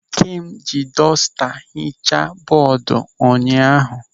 Ikem ji dọsta hichaa bọọdu ụnyaahụ.